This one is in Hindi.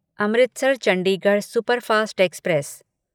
Amritsar Chandigarh superfast express